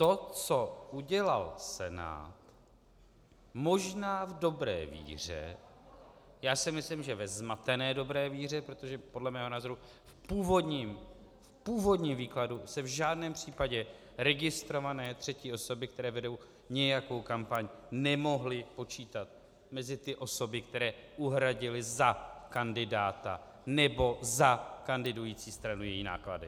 To, co udělal Senát, možná v dobré víře - já si myslím, že ve zmatené dobré víře, protože podle mého názoru v původním výkladu se v žádném případě registrované třetí osoby, které vedou nějakou kampaň, nemohly počítat mezi ty osoby, které uhradily za kandidáta nebo za kandidující stranu její náklady.